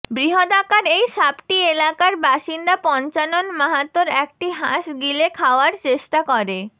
বৃহদাকার এই সাপটি এলাকার বাসিন্দা পঞ্চানন মাহাতর একটি হাঁস গিলে খাওয়ার চেষ্টা করে